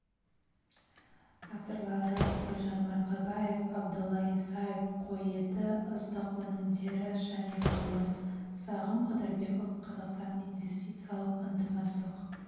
авторлары гүлжан марқабаева абдолла исаев қой еті астық өнімдері және қымыз сағым қыдырбеков қазақстан инвестициялық ынтымақтастық